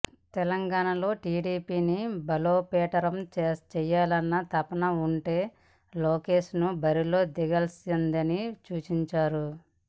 తెలంగాణలో టీడీపీని బలోపేతం చేయాలన్న తపన ఉంటే లోకేష్ను బరిలో దింపాల్సిందని సూచించారు